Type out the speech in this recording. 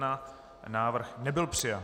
Návrh nebyl přijat.